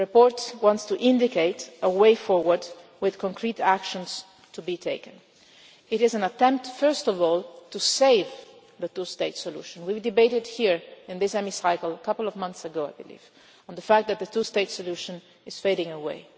report? The report seeks to indicate a way forward, with concrete actions to be taken. It is an attempt, first of all, to save the two-state solution. We had a debate here, in this Chamber a couple of months ago, I believe on the fact that the two-state solution is fading